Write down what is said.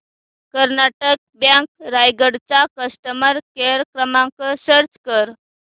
Karnataka bank Raigad चा customer care क्रमांक search कर